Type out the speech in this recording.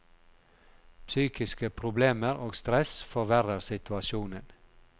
Psykiske problemer og stress forverrer situasjonen.